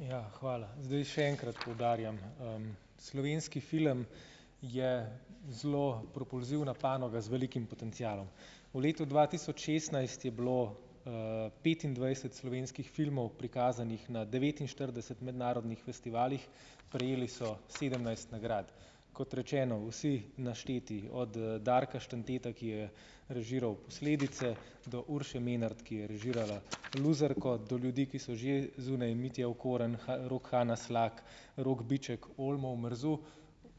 Ja, hvala. Zdaj še enkrat poudarjam, Slovenski film je zelo propulzivna panoga z velikim potencialom. V letu dva tisoč šestnajst je bilo, petindvajset slovenskih filmov prikazanih na devetinštirideset mednarodnih festivalih, prejeli so sedemnajst nagrad. Kot rečeno, vsi našteti od, Darka Štanteta, ki je režiral posledice do Urše Menart, ki je režirala Luzerko, do ljudi, ki so že zunaj Mitja Okorn, Rok, Hana Slak, Rok Biček - Olmo Omerzu.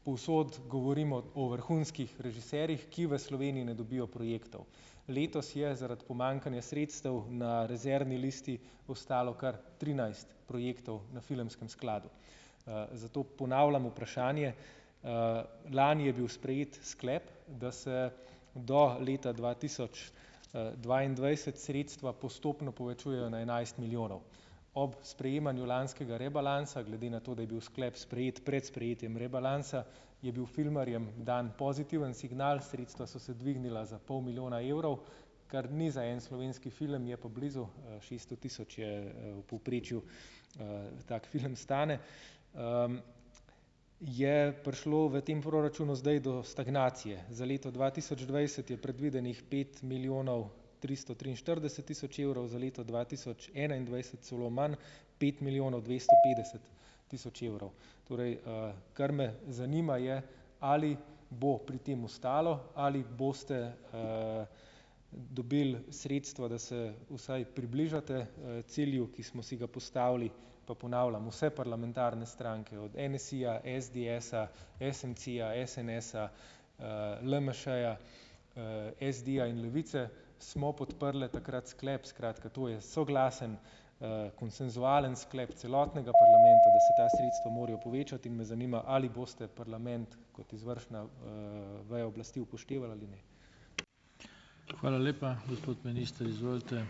Povsod govorimo o vrhunskih režiserjih, ki v Sloveniji ne dobijo projektov. Letos je zaradi pomanjkanja sredstev na rezervni listi ostalo kar trinajst projektov na filmskem skladu, zato ponavljam vprašanje. Lani je bil sprejet sklep, da se do leta dva tisoč, dvaindvajset sredstva postopno povečujejo na enajst milijonov. Ob sprejemanju lanskega rebalansa, glede na to, da je bil sklep sprejet pred sprejetjem rebalansa, je bil filmarjem dan pozitiven signal, sredstva so se dvignila za pol milijona evrov, kar ni za en slovenski film, je pa blizu. Šeststo tisoč je, v povprečju, tak film stane, je prišlo v tem proračunu zdaj do stagnacije. Za leto dva tisoč dvajset je predvidenih pet milijonov tristo triinštirideset tisoč evrov, za leto dva tisoč enaindvajset celo manj pet milijonov dvesto petdeset tisoč evrov. torej, kar me zanima, je, ali bo pri tem ostalo ali boste, dobili sredstva, da se vsaj približate, cilju, ki smo si ga postavili, pa ponavljam, vse parlamentarne stranke od NSi-ja, SDS-a, SMC-ja, SNS-a, LMŠ-ja, SD-ja in Levice, smo podprle takrat sklep. Skratka, to je soglasen, konsenzualen sklep celotnega parlamenta, da se ta sredstva morajo povečati in me zanima, ali boste parlament, kot izvršna, veja oblasti upoštevali ali ne.